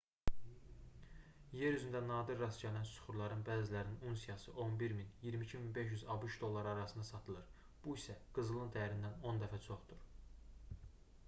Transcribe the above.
yer üzündə nadir rast gəlinən süxurların bəzilərinin unsiyası 11 000 - 22 500 abş dolları arasında satılır bu isə qızılın dəyərindən 10 dəfə çoxdur